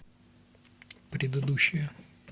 предыдущая